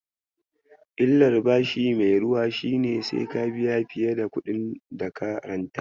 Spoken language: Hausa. Illar bashi mai ruwa shine sai ka biya fiye da kuɗin daka ranta.